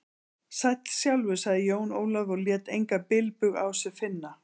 Sæll sjálfur, sagði Jón Ólafur og lét engan bilbug á sér finna.